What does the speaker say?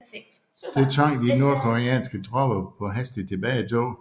Det tvang de nordkoreanske tropper på hastigt tilbagetog